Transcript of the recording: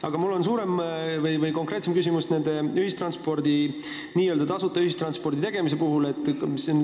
Aga mul on konkreetsem küsimus n-ö tasuta ühistranspordi tegemise kohta.